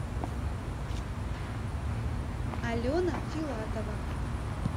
алена филатова